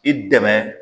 I dɛmɛ